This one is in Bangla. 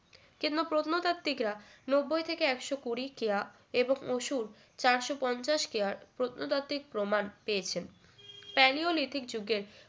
কিন্তু প্রত্নতাত্ত্বিকরা নব্বই থেকে একশো কুড়ি কেয়া এবং চারশো পঞ্চাশ কেয়ার প্রত্নতাত্ত্বিক প্রমাণ পেয়েছেন Palaeolithic যুগের